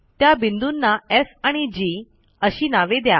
त्या बिंदूंना एफ आणि जी अशी नावे द्या